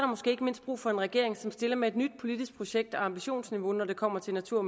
måske ikke mindst brug for en regering som stiller med et nyt politisk projekt og ambitionsniveau når det kommer til natur og